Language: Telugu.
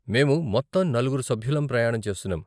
మేము మొత్తం నలుగురు సభ్యులం ప్రయాణం చేస్తున్నాం.